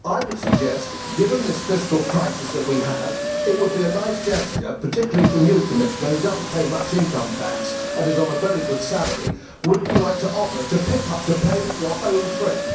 I would suggest, given this fiscal crisis that we have, that it would be a nice gesture particularly from you, Commissioner, who does not pay much income tax and is on a very good salary for you to offer to pay for your own trip.